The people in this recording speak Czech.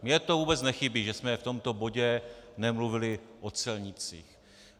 Mně to vůbec nechybí, že jsme v tomto bodě nemluvili o celnících.